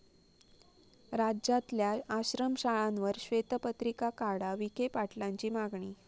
राज्यातल्या आश्रमशाळांवर श्वेतपत्रिका काढा, विखे पाटलांची मागणी